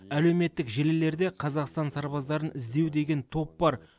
әлеуметтік желілерде қазақстан сарбаздарын іздеу деген топ бар